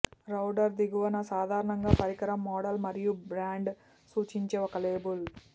router దిగువన సాధారణంగా పరికరం మోడల్ మరియు బ్రాండ్ సూచించే ఒక లేబుల్